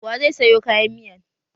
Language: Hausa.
Wa zai sayo kayan miyan?